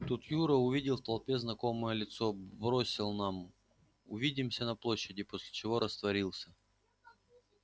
тут юра увидел в толпе знакомое лицо бросил нам увидимся на площади после чего растворился